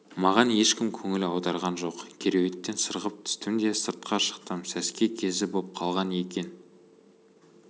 маған ешкім көңіл аударған жоқ кереуеттен сырғып түстім де сыртқа шықтым сәске кезі боп қалған екен